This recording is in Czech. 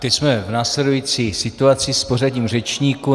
Teď jsme v následující situaci s pořadím řečníků.